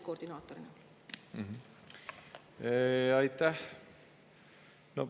Aitäh!